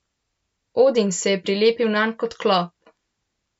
Odin se je prilepil nanj kot klop.